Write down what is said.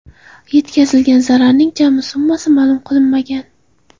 Yetkazilgan zararning jami summasi ma’lum qilinmagan.